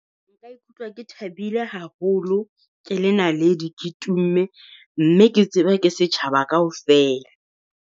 Nka ikutlwa ke thabile haholo, ke le naledi, ke tumme mme ke tseba ke setjhaba kaofela.